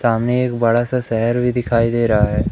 सामने एक बड़ा सा शहर भी दिखाई दे रहा है।